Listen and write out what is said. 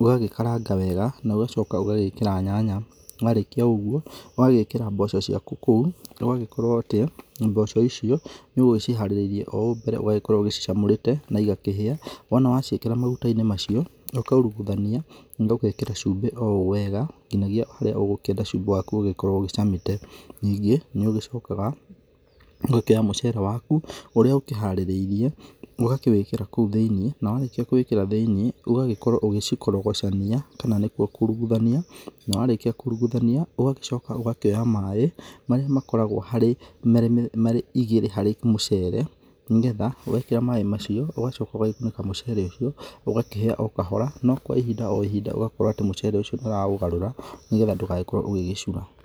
ũgagĩkaranga wega na ũgacoka ũgagĩkĩra nyanya, warĩkia ũguo ũgagĩkĩra mboco ciaku kũu na ũgagĩkorwo atĩ mboco icio nĩ ũgũciharĩrĩirie ũhau mbere, ũgakorwo ũgĩcicamũrĩte naigakĩhĩa, wona waciakĩra maguta-inĩ macio ũkairuguthania na ũgekĩra cumbĩ owega nginyagia harĩa ũgũkĩenda cumbĩ waku ũgĩkorwo ũgĩcamĩte. Ningĩ nĩũgĩcokaga ũgakĩoya mũcere waku ũrĩa ũkĩharĩrĩirie ũgakĩwĩkĩra kũu thĩiniĩ na warĩkia kũwĩkĩra thĩiniĩ ũgagĩkorwo ũgĩciurugucania kana nĩkuo kuruguthania na warĩkia kuruguthania ũgagĩcoka ũgakĩoya maĩ marĩa makoragwo marĩ igĩrĩ harĩ mũcere nĩgetha wekĩra maĩ macio ũgacoka ũgagĩkunĩka mũcere ũcio, ũgakĩhĩa okahora na kwa ihinda o ihinda ũgakorwo mũcere ũcio nĩ ũraũgarũra nĩgetha ndũgagĩkorwo ũgĩgĩcura.